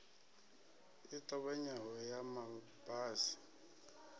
i ṱavhanyaho ya ma basi